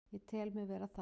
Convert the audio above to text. Ég tel mig vera það.